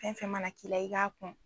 Fɛn fɛn mana k'i la , i k'a kun.